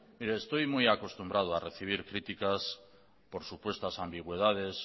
mire estoy muy acostumbrado a recibir críticas por supuestas ambigüedades